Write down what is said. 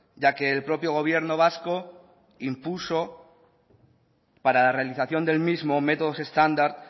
ya que el propio gobierno vasco impuso para la realización del mismo métodos estándar